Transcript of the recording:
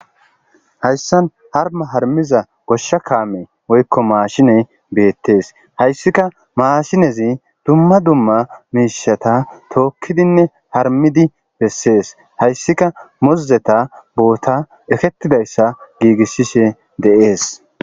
Hayssan harma harmiza goshsha kaame oykko maashiney beettees hayssika maashinezi dumma dumma miishata tookkidinne harmidi bessees hayssika mozzeta boota ekkettidayssa giigissishe deees